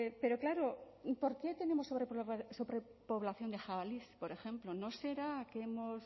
pero claro por qué tenemos sobrepoblación de jabalíes por ejemplo no será que hemos